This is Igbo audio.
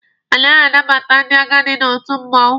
Anaghị anabata ndị agadi n'otu mmụọnwụ.